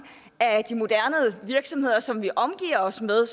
af de moderne virksomheder som vi omgiver os med